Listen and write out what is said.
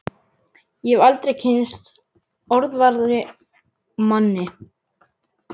Ég hef aldrei kynnst orðvarari manni!